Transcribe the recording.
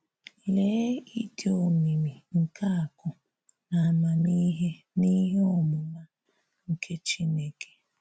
“LÉÉ̀ ịdị omimì nke àkụ̀ na àmàmihè na ihè ọmụmà nke Chinekè!